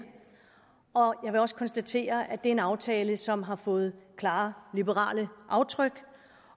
jeg vil også konstatere er en aftale som har fået klare liberale aftryk